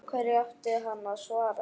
Hverju átti hann að svara?